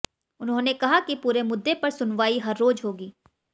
उन्होंने कहा कि पूरे मुद्दे पर सुनवाई हर रोज होगी